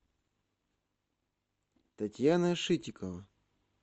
татьяна шитикова